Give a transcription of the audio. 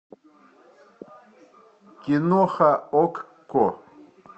киноха окко